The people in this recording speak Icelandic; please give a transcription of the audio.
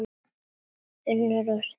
UNNUR: Of seint!